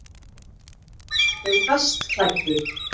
Þau best klæddu